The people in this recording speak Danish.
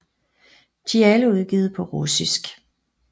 De er alle udgivet på russisk